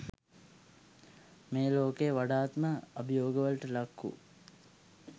මේ ලෝකයේ වඩාත්ම අභියෝගවලට ලක් වූ